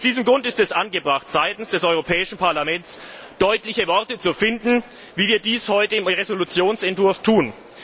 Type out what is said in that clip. Aus diesem Grund ist es angebracht, seitens des Europäischen Parlaments deutliche Worte zu finden, wie wir dies heute im Entwurf einer Entschließung tun.